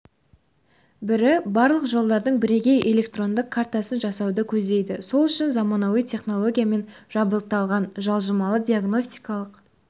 бірі барлық жолдардың бірегей электрондық картасын жасауды көздейді сол үшін заманауи технологиямен жабдықталған жылжымалы диагностикалық